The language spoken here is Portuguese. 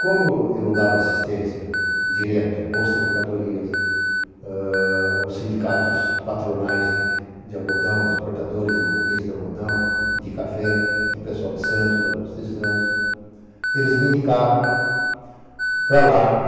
Como eu dava assistência direto à Bolsa de Mercadorias, aos sindicatos patronais de algodão, de exportadores e maquinistas de algodão e de café, do pessoal de Santos, da Bolsa de Santos, eles me indicavam para lá.